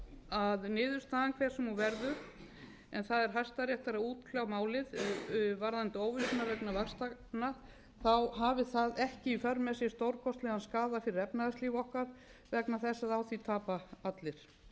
að niðurstaðan hver sem hún verður en það er hæstaréttar að útkljá málið varðandi óvissuna vegna vaxtanna hafi það ekki í för með sér stórkostlegan skaða fyrir efnahagslíf okkar vegna þess að á því tapa allir